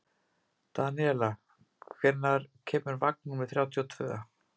Daníela, hvenær kemur vagn númer þrjátíu og tvö?